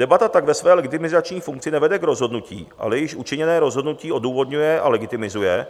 Debata tak ve své legitimizační funkci nevede k rozhodnutí, ale již učiněné rozhodnutí odůvodňuje a legitimizuje,